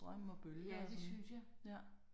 Ja det synes jge